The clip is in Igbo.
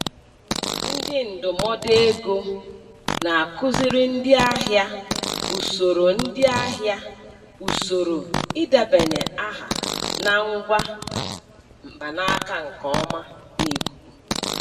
Ndị ndụmọdụ ego na-akụziri ndị ahịa usoro ndị ahịa usoro idebanye aha na ngwa mkpanaka nke ọma n'ikuku,